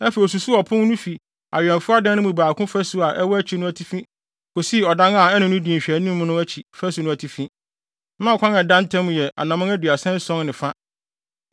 Afei osusuw ɔpon no fi awɛmfo adan no mu baako fasu a ɛwɔ akyi no atifi kosii ɔdan a ɛne no di nhwɛanim no akyi fasu no atifi; na ɔkwan a ɛda ntam yɛ anammɔn aduasa ason ne fa.